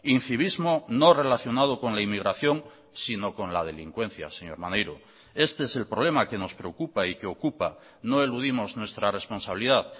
incivismo no relacionado con la inmigración sino con la delincuencia señor maneiro este es el problema que nos preocupa y que ocupa no eludimos nuestra responsabilidad